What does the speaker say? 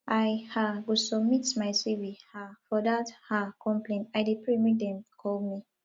i um go submit my cv um for dat um company i dey pray make dem call me